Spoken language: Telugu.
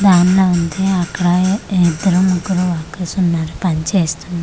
దానిలా ఉంది అక్కడా ఇద్దరో ముగ్గురో వర్కర్స్ ఉన్నారు పని చేస్తున్నారు.